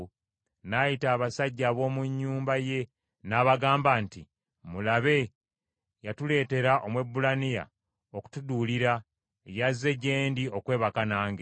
n’ayita abasajja ab’omu nnyumba ye n’abagamba nti, “Mulabe, yatuleetera Omwebbulaniya okutuduulira, yazze gye ndi okwebaka nange,